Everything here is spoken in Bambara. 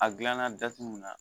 A gilanna da t'u mun na